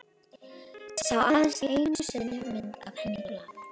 Sá aðeins einu sinni mynd af henni í blaði.